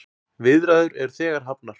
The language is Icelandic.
Viðræður eru þegar hafnar.